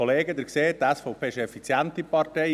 Die SVP ist eine effiziente Partei.